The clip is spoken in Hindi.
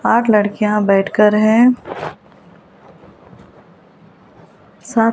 आठ लड़कियां बैठकर है साथ--